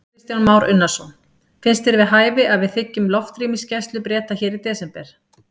Kristján Már Unnarsson: Finnst þér við hæfi að við þiggjum loftrýmisgæslu Breta hér í desember?